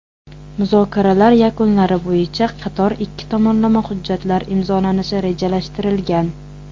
Muzokaralar yakunlari bo‘yicha qator ikki tomonlama hujjatlar imzolanishi rejalashtirilgan.